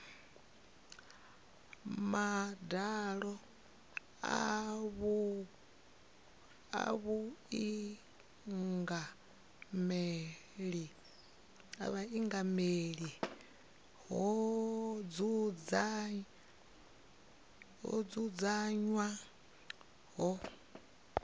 madalo a vhuingameli ho dzudzanywaho